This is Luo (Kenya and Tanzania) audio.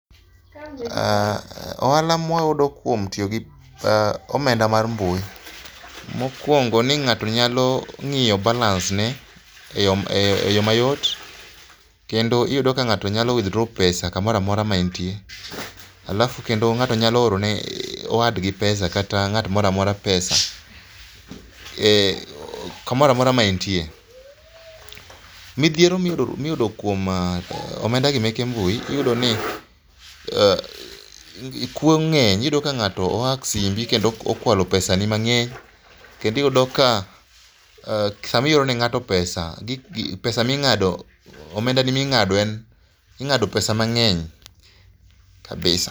Ohala mawayudo kuom tiyo gi omenda mar mbui mokuongo ni ng'ato nyalo ng'iyo balance ne e yoo mayot kendo iyudo ni ng'ato nyalo withdraw pesa kamoro amora ma entie alafu kendo ng'ato nyalo oro ne wadgi pesa[c] kata ng'at moro amora pesa ee, kamoro amora ma entie. Midhiero miyudo kuom omenda gi meke mbui iyudo ni kuo ng'eny. Iyudo ka ngato o hack simbi kendo okwalo pesani mang'eny kendo iyudo ka sama ioro ne ngato pesa, pesa ming'ado, omendani minga'do, ing'ado pesa mang'eny kabisa